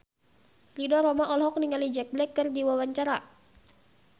Ridho Roma olohok ningali Jack Black keur diwawancara